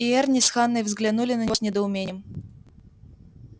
и эрни с ханной взглянули на него с недоумением